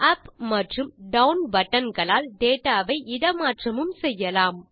up மற்றும் down button களால் data வை இட மாற்றமும் செய்யலாம்